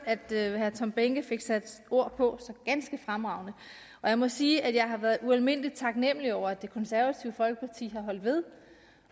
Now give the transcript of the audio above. tom behnke fik sat ord på så ganske fremragende og jeg må sige at jeg har været ualmindelig taknemlig over at det konservative folkeparti har holdt ved